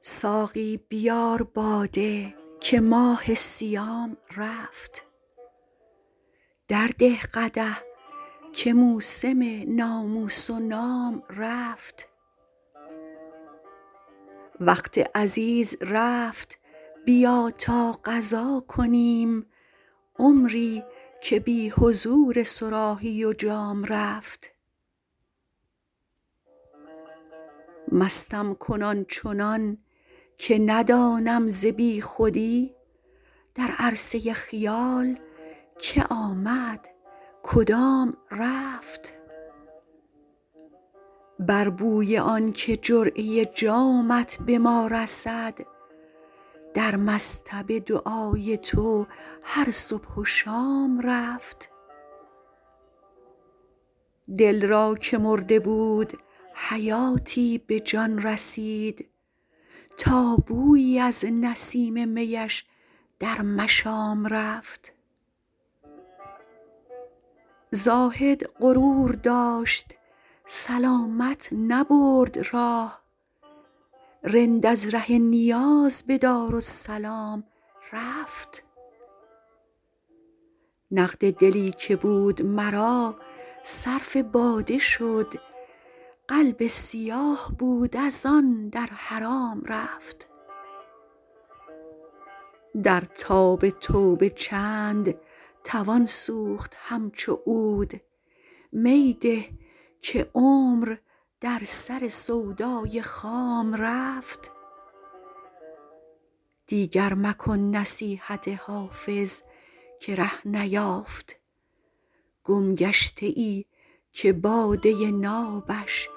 ساقی بیار باده که ماه صیام رفت درده قدح که موسم ناموس و نام رفت وقت عزیز رفت بیا تا قضا کنیم عمری که بی حضور صراحی و جام رفت مستم کن آن چنان که ندانم ز بی خودی در عرصه خیال که آمد کدام رفت بر بوی آن که جرعه جامت به ما رسد در مصطبه دعای تو هر صبح و شام رفت دل را که مرده بود حیاتی به جان رسید تا بویی از نسیم می اش در مشام رفت زاهد غرور داشت سلامت نبرد راه رند از ره نیاز به دارالسلام رفت نقد دلی که بود مرا صرف باده شد قلب سیاه بود از آن در حرام رفت در تاب توبه چند توان سوخت همچو عود می ده که عمر در سر سودای خام رفت دیگر مکن نصیحت حافظ که ره نیافت گمگشته ای که باده نابش